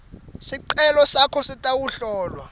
sicelo sakho sitawuhlolwa